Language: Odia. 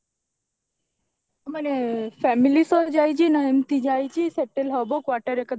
ମାନେ family ସହ ଯାଇଛି ନା ଏମିତି ଯାଇଛି settle ହବ quarter ହେକା ଦେଖିକି ନା